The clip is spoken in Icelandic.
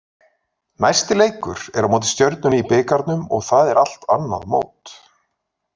Næsti leikur er á móti Stjörnunni í bikarnum og það er allt annað mót.